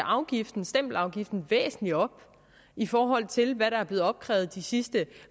stempelafgiften væsentligt op i forhold til hvad der er blevet opkrævet de sidste